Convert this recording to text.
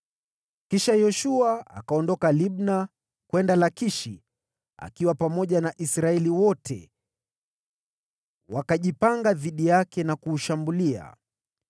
Kisha Yoshua akaondoka Libna kwenda Lakishi akiwa pamoja na Israeli yote; wakajipanga dhidi yake na kuushambulia.